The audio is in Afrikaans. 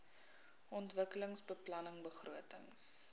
ontwikkelingsbeplanningbegrotings